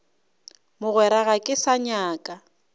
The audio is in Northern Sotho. mogwera ga ke sa nyaka